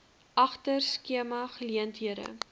agter skema geleenthede